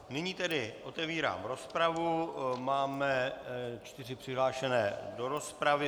Nyní tedy otevírám rozpravu, máme čtyři přihlášené do rozpravy.